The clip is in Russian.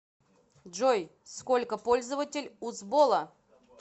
джой сколько пользователь у сбола